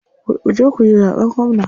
Kuje kuyi zaɓen gwamna.